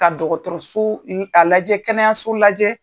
Ka dɔgɔtɔrɔso a lajɛ kɛnɛyaso lajɛ.